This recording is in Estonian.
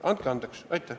Andke andeks!